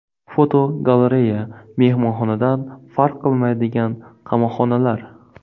Fotogalereya: Mehmonxonadan farq qilmaydigan qamoqxonalar.